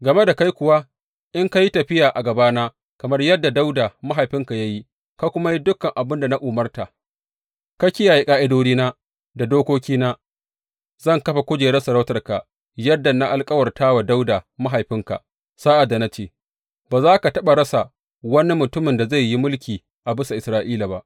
Game da kai kuwa, in ka yi tafiya a gabana kamar yadda Dawuda mahaifinka ya yi, ka kuma yi dukan abin da na umarta, ka kiyaye ƙa’idodina da dokokina, zan kafa kujerar sarautarka, yadda na alkawarta wa Dawuda mahaifinka sa’ad da na ce, Ba za ka taɓa rasa wani mutumin da zai yi mulki a bisa Isra’ila ba.’